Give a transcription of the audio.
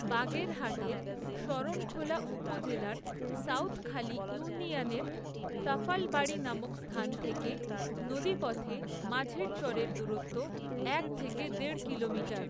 বাগেরহাটের, শরণখোলা উপজেলার সাউথখালী ইউনিয়নের তাফালবাড়ী নামক স্থান থেকে, নদীপথে মাঝের চরের দূরত্ব এক থেকে দেড় কিলোমিটার।